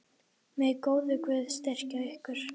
Megi góður Guð styrkja ykkur.